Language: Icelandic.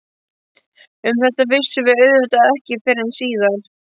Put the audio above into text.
Um þetta vissum við auðvitað ekki fyrren síðar.